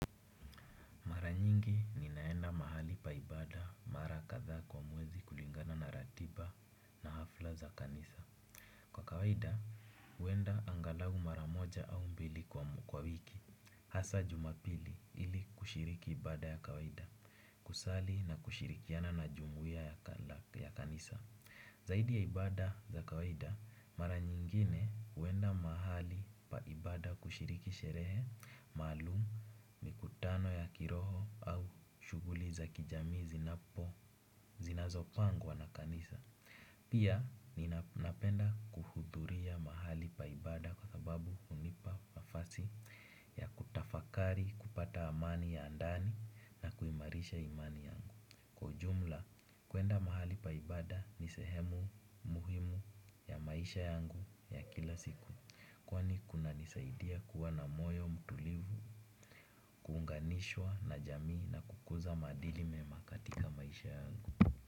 Nalipa ibada mara kadhaa kwa mwezi kulingana na ratiba na hafla za kanisa. Kwa kawaida, huenda angalau mara moja au mbili kwa wiki. Hasa jumapili ili kushiriki ibada ya kawaida, kusali na kushirikiana na jumuiya ya kanisa. Zaidi ya ibada za kawaida, mara nyingine huenda mahali pa ibada kushiriki sherehe, maalumu, mikutano ya kiroho au shughuli za kijami zinapo, zinazopangwa na kanisa. Pia, ninapenda kuhudhuria mahali pa ibada kwa sababu hunipa nafasi ya kutafakari kupata amani ya ndani na kuimarisha imani yangu. Kwa ujumla, kuenda mahali pa ibada ni sehemu muhimu ya maisha yangu ya kila siku kwani kunanisaidia kuwa na moyo mtulivu, kuunganishwa na jamii na kukuza maadili mema katika maisha yangu.